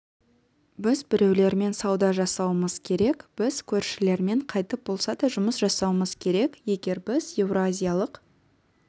біз біреулермен сауда жасауымыз керек біз көршілермен қайтіп болса да жұмыс жасауымыз керек егер біз еуразиялық